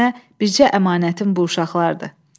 Bax sənə bircə əmanətim bu uşaqlardır.